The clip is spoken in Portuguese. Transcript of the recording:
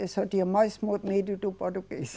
Esse é o dia mais mo, medo do português.